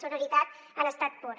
sororitat en estat pur